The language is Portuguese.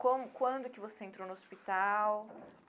Com quando que você entrou no hospital?